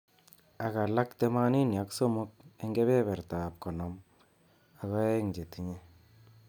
Ak alak temanini ak somok eng kebeberta ab konom ak aeng chetinye.